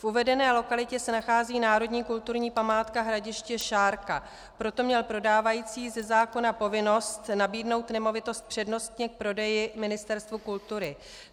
V uvedené lokalitě se nachází národní kulturní památka Hradiště Šárka, proto měl prodávající ze zákona povinnost nabídnout nemovitost přednostně k prodeji Ministerstvu kultury.